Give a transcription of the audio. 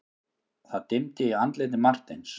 Það dimmdi í andliti Marteins.